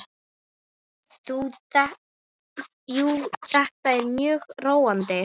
Jú, þetta er mjög róandi.